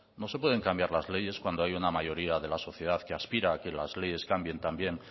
no se puede cambiar las leyes cuando hay una mayoría de la sociedad que aspira a que las leyes cambien también